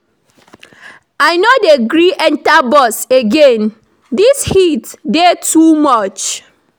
I no dey gree enta bus again, dis heat dey too much.